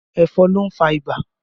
Ẹ̀fọn ló ń fà ibà